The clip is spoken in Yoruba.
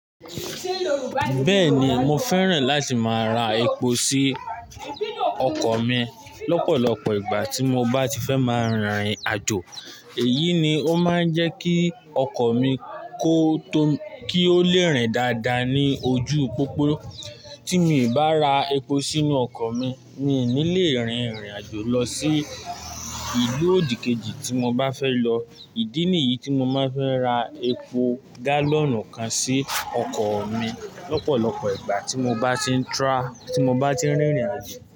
Bẹ́ẹ̀ni mo fẹ́ràn láti máa ra epo sí ọkọ̀ mi lọ́pọ̀lọpọ̀ ìgbà tí mo bá ti fẹ́ máa rin ìrìn àjò. Èyí ni ó máa ń jẹ́ kí ọkọ̀ mi kọ tó, kí ó lè rìn dáadáa ní ojú pópó. Tí mi o bá ra epo sínú ọkọ̀ mi, mi ò ní lè rin ìrìn àjò lọ sí ìlú òdìkejì tí mo bá fẹ́ lọ. Ìdí nìyí tí mo máa ń fẹ́ ra epo gálọ̀nù kan sí ọkọ̀ mi lọ́pọ̀lọpọ̀ ìgbà tí mo bá ti ń tra-- tí mo bá ti ń rìn ìrìn àjò.